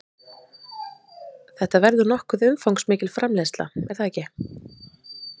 Þetta verður nokkuð umfangsmikil framleiðsla, er það ekki?